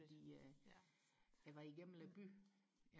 dem ude i eller gennem byen